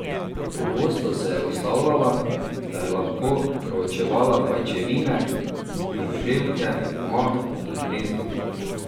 Pogosto se je ustavljala, da je lahko proučevala pajčevine, žuželke, mah in gnezda.